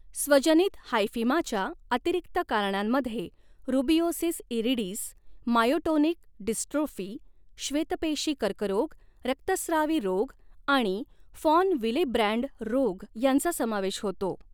स्वजनित हायफिमाच्या अतिरिक्त कारणांमध्ये रुबिओसिस इरिडिस, मायोटोनिक डिस्ट्रोफी, श्वेतपेशी कर्करोग, रक्तस्त्रावी रोग आणि फॉन विलेब्रँड रोग यांचा समावेश होतो.